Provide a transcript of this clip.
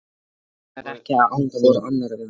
Þó mega þær ekki án hvor annarrar vera.